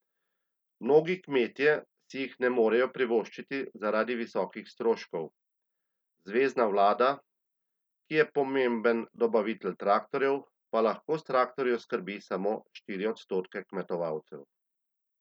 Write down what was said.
Mnogi kmetje si jih ne morejo privoščiti zaradi visokih stroškov, zvezna vlada, ki je pomemben dobavitelj traktorjev, pa lahko s traktorji oskrbi samo štiri odstotke kmetovalcev.